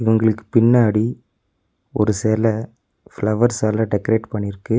அவங்களுக்கு பின்னாடி ஒரு செல ஃப்ளவர்ஸால டெக்கரேட் பண்ணிருக்கு.